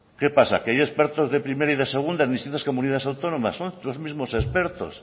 qué pasa que hay expertos de primera y de segunda en distintas comunidades autónomas son los mismos expertos